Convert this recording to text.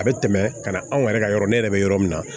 A bɛ tɛmɛ ka na anw yɛrɛ ka yɔrɔ ne yɛrɛ bɛ yɔrɔ min na